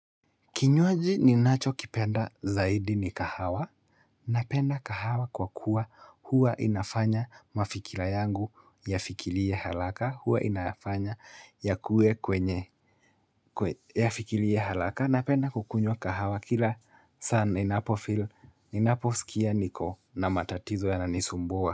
Kinyuaji ninacho kipenda zaidi ni kahawa. Napenda kahawa kwa kuwa huwa inafanya mafikira yangu yafikilie halaka. Huwa inafanya yakue kwenye, kwe yafikilie ya halaka. Napenda kukunyua kahawa kila saa ninapo feel Inaposikia niko na matatizo yananisumbua.